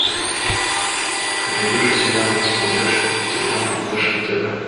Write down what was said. ты найдешь у себя на смотрешке телеканал фешн тв